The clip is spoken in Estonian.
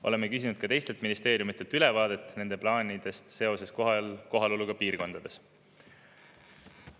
Oleme küsinud ka teistelt ministeeriumidelt ülevaadet nende plaanidest seoses kohaloluga piirkondades.